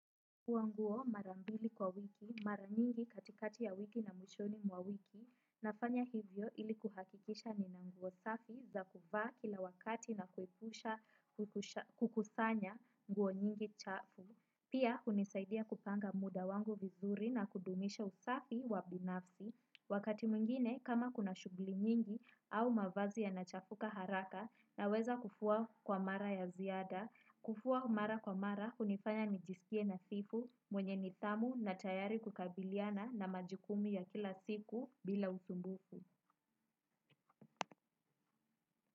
Kufua nguo marambili kwa wiki, mara nyingi katikati ya wiki na mwishoni mwa wiki, nafanya hivyo ili kuhakikisha nina nguo safi za kuvaa kila wakati na kuepusha kukusanya nguo nyingi chafu. Pia, unisaidia kupanga muda wangu vizuri na kudumisha usafi wa binafsi. Wakati mwingine, kama kuna shughuli nyingi au mavazi ya nachafuka haraka na weza kufua kwa mara ya ziada, kufua mara kwa mara, unifanya nijisikie na sifa mwenye nitamu na tayari kukabiliana na majukumu ya kila siku bila usumbufu.